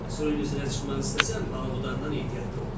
Suyun üzünə çıxmaq istəsən, balıqudandan ehtiyatlı ol.